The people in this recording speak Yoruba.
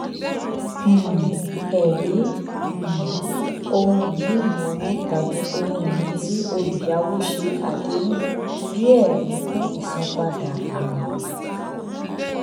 um ẹrí um ohunìní ìnáwó tàbí ohunìní tí olùyàwó ṣe àdéhùn bí ẹrí fún ìsanpadà àwín